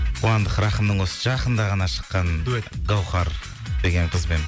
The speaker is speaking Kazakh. қуандық рахымның осы жақында ғана шыққан дуэт гаухар деген қызбен